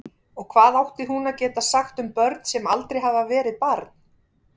Og hvað átti hún að geta sagt um börn sem aldrei hafði verið barn?